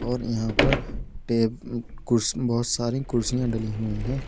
और यहां पर ते बहुत सारी कुर्सियां डाली हुई हैं।